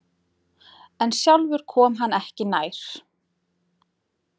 En sjálfur kom hann ekki nær.